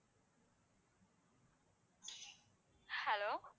hello